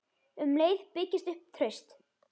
Um leið byggist upp traust.